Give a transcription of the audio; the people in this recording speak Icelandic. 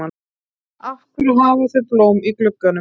Af hverju hafa þau blóm í gluggunum?